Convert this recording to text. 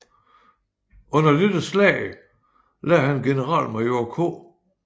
Under dette slag lagde han generalmajor K